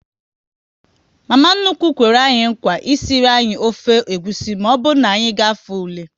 Mama nnukwu kwere nkwa esiri anyị ofe egwusi, maọbụ na anyị gafee ule